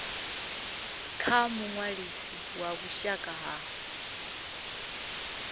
kha muṅwalisi wa vhushaka ha